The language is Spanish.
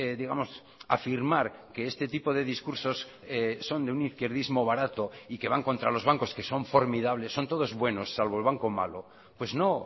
digamos afirmar que este tipo de discursos son de un izquierdismo barato y que van contra los bancos que son formidables son todos buenos salvo el banco malo pues no